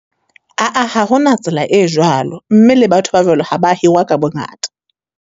Ha hona tsela e jwalo, mme le batho ba jwalo ha ba hirwa ka bongata.